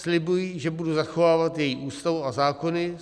Slibuji, že budu zachovávat její Ústavu a zákony.